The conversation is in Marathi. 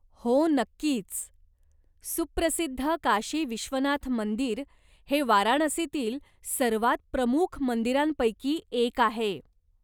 हो नक्कीच. सुप्रसिद्ध काशी विश्वनाथ मंदिर हे वाराणसीतील सर्वात प्रमुख मंदिरांपैकी एक आहे.